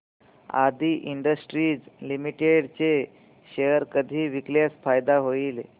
आदी industries limited चे share कधी विकल्यास फायदा होईल